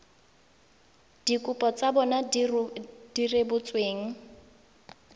dikopo tsa bona di rebotsweng